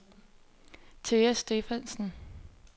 Thea Stephansen